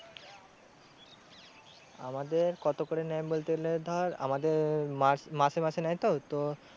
আমাদের কত করে নেয় বলতে গেলে ধর আমাদের মা মাসে মাসে নেয়তো তো